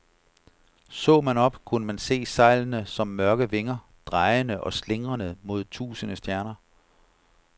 Så man op, kunne man se sejlene som mørke vinger, drejende og slingrende mod tusinde stjerner.